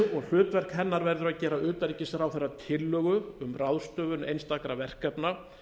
hlutverk hennar verður að gera utanríkisráðherra tillögu um ráðstöfun einstakra verkefna